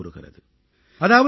என்று கீதை கூறுகிறது